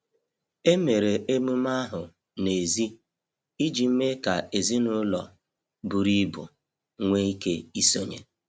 Emere emume ahụ n’èzí iji mee ka ezinụlọ buru ibu nwee ike isonye.